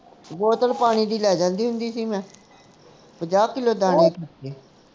ਬੋਤਲ ਪਾਣੀ ਦੀ ਲੈ ਜਾਂਦੀ ਹੁੰਦੀ ਸੀ ਮੈਂ ਪੰਜਾਹ ਕਿੱਲੋ ਦਾਣੇ